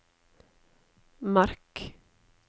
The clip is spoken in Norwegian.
merk